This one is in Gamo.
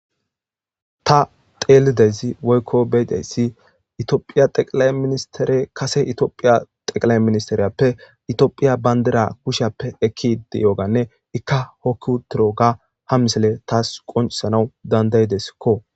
Ta telidezi woykko beydessi itiophiya xeqilae ministere kase itiophiya xeqlae ministeriyappe itiophiya bandira kushappe ekki ide yooganne ikka hokkutoroga ha misele taas qoncsanaw dandayideskko